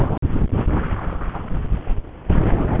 Mjólkin farin að vætla úr brjóstunum.